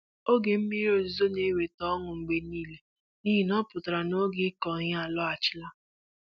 Oge mmiri ozuzo na-eweta ọṅụ mgbe niile n'ihi na ọ pụtara na oge ịkụ ihe alọghachila.